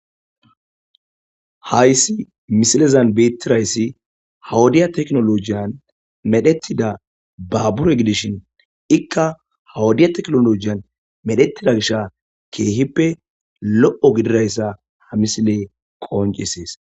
Haysi misilezan beeththi zayssi ha wodiya teknoolojiyan medheththida baabure gidishin ikka ha wodiya teknooloojiyan medheththida gisha keehippe lo7o gidira isa ha misilee qonccissees.